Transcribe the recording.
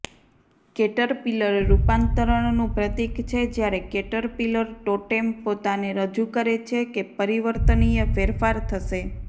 Caterpillar રૂપાંતરણનું પ્રતીક છે જ્યારે કેટરપિલર ટોટેમ પોતાને રજૂ કરે છે કે પરિવર્તનીય ફેરફાર થશે